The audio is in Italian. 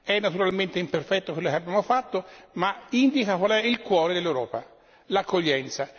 È naturalmente imperfetto quello che abbiamo fatto, ma indica qual è il cuore dell'Europa l'accoglienza.